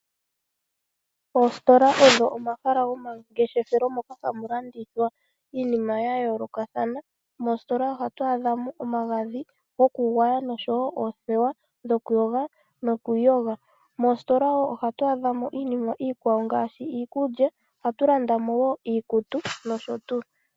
Oositola odho omahala gomangeshefelo moka hamu landithwa iinima ya yoolokathana. Moositola ohatu adha mo iinima ngaashi omagadhi gokugwaya noshowo oothewa dhokuyoga nokwiiyoga. Moositola wo ohatu adhamo iinima iikwawo ngaashi iikulya, ohatu landa mo wo iikutu nosho tuu.